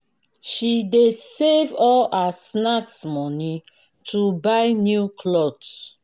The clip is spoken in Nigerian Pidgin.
she dey save all her snacks moni to buy new cloth.